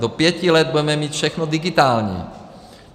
Do pěti let budeme mít všechno digitální.